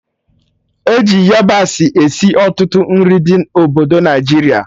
E ji yabasị esi ọtụtụ nri ndị obodo Naijiria